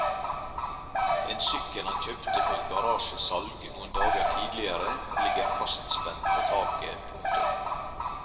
En sykkel han kjøpte på et garasjesalg noen dager tidligere ligger fastspent på taket. punktum